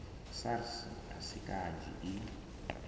sars a si kanzhi i